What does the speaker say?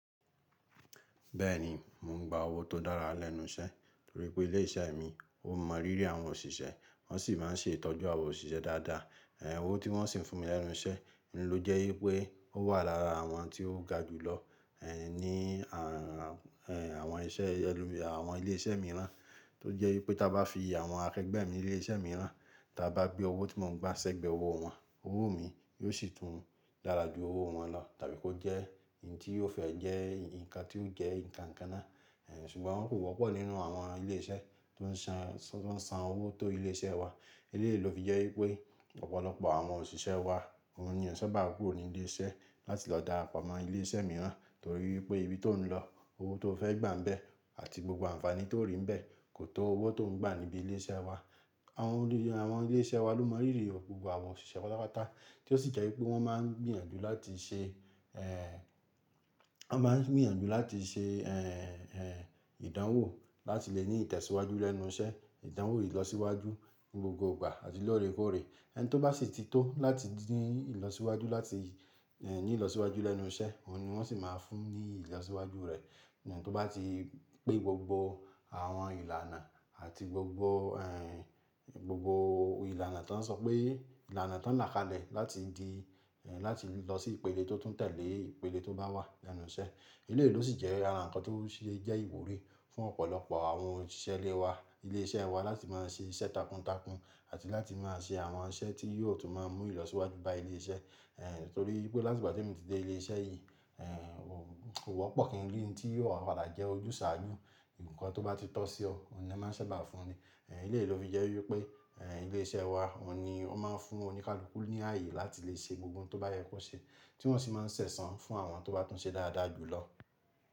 Bẹ́ẹ̀ni, mò ń gba owó tó dára lẹ́nu iṣẹ́ torí pé ilé iṣẹ́ mi ó mọ rírí àwọn òṣìṣẹ́, wọ́n sì máa ń ṣe ìtọ́jú àwa òṣìṣẹ́ dáadáa. Ẹ̀hn owó tí wọ́n sì ń fún mi lẹ́nu iṣẹ́, n ló jẹ́ wípé ó wà lára àwọn tí ó ga jù lọ, ní àwọn iṣẹ́ àwọn ilé iṣẹ́ mìíràn. Tó jẹ́ wípé tí a bá fi àwọn akẹgbẹ́ mi ní ilé iṣẹ́ mìíràn, tí a bá gbe owó tí mò ń gba ṣẹ́gbẹ́ owó wọn, owó mi yóò sì tún dara jù owó wọn lọ tàbí kó jẹ́ nti ó fẹ́ jẹ́ nǹkan tí ó jẹ́ nǹkan kan náà. Ẹ̀, ṣùgbọ́n wọn kò wọ́pọ̀ nínú àwọn ilé iṣẹ́ tó ń san, tó ń san owó tó ilé iṣẹ́ wa. Eléyìí ló fi jẹ́ wípé ọ̀pọ̀lọpọ̀ àwọn òṣìṣẹ́ wa, òun ni ò ń ṣẹ̀bà kúrò ní ilé iṣẹ́ láti lọ darapọ̀ mọ́ ilé iṣẹ́ mìíràn torí wípé ibi tó ń lọ, owó tó fẹ́ gbà ń bẹ́ àti gbogbo àǹfààní tó rí ń bẹ́ kò tó owó tó ń gbà níbí ilé iṣẹ́ wa. Àwọn ilé, àwọn ilé iṣẹ́ wa ló mọ rírí gbogbo àwọn òṣìṣẹ́ pátápátá tí ó sì jẹ́ wípé wọ́n máa ń gbìyànjú láti ṣe, wọ́n máa ń gbìyànjú láti ṣe, ìdánwò láti lè ní ìtẹ̀síwájú lẹ́nu iṣẹ́, ìdánwò ìlọsíwájú gbogbogbà àti lóòrèkóòrè. Ẹni tó bá sì ti tó láti ní ìlọsíwájú láti, ní ìlọsíwájú lẹ́nu iṣẹ́, òun ni wọ́n sì máa fún ní ìlọsíwájú rẹ̀. Ẹni tó bá ti pé gbogbo àwọn ìlànà àti gbogbo, gbogbo ìlànà tó ń sọ pé ìlànà tó ń làkale láti di, láti lọ sí ìpele tó tún tẹ̀lé ìpele tó bá wà lẹ́nu iṣẹ́. Eléyìí ló sì jẹ́ ara ǹkan tó sì jẹ́ ìwúrí fún ọ̀pọ̀lọpọ̀ àwọn òṣìṣẹ́ ilé wa, ilé iṣẹ́ wa láti máa ń ṣe iṣẹ́ takuntakun àti láti máa ṣe àwọn iṣẹ́ tí yóò tún máa mú ìlọsíwájú bá ilé iṣẹ́. Torí wípé láti ìgbà tí mo ti dé ilé iṣẹ́ yìí, kò wọ́pọ̀ kí ń rí n tí yóò padà jẹ́ ojúsàájú. Ǹkan tó bá ti tọ́ sí ọ, òun ni wọ́n máa ń ṣẹ̀bà fún ẹ. Eléyìí ló fi jẹ́ wípé, ilé iṣẹ́ wa òun ni ó máa ń fún oníkálukú ní ààyè láti lè ṣe gbogbo ohun tó bá yẹ kó ṣe tí wọ́n sì máa ń ṣẹ̀sán fún àwọn tó bá tún ṣe dáadáa jù lọ.